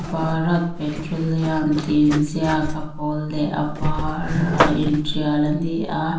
bharat petroleum tih inziak a pawl leh a varrr a in ṭial a ni a.